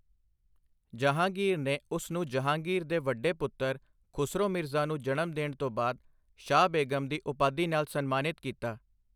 ਜਹਾਂਗੀਰ ਨੇ ਉਸ ਨੂੰ ਜਹਾਂਗੀਰ ਦੇ ਵੱਡੇ ਪੁੱਤਰ ਖੁਸਰੋ ਮਿਰਜ਼ਾ ਨੂੰ ਜਨਮ ਦੇਣ ਤੋਂ ਬਾਅਦ ਸ਼ਾਹ ਬੇਗਮ ਦੀ ਉਪਾਧੀ ਨਾਲ ਸਨਮਾਨਿਤ ਕੀਤਾ।